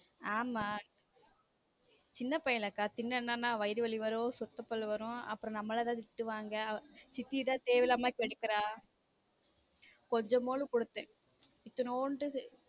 ஆம சின்ன பையன்லக்கா தின்னான்னா வயிறு வலி வரும் சொத்த பள்ளு வரும் அப்புறம் நம்மால் தான் திட்டுவாங்க சித்தி தான் தேவை இல்லாம கெடுக்கிறா கொஞ்சம் போதும் கொடுத்தேன் இத்துனூண்டு.